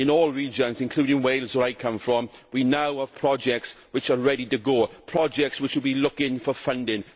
In all regions, including Wales where I come from, we now have projects which are ready to go, projects which have been looking for funding.